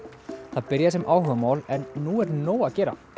það byrjaði sem áhugamál en nú er nóg að gera